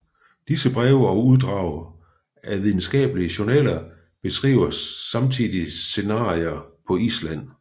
Disse breve og uddrag af videnskabelige journaler beskriver samtidige scenarier på Island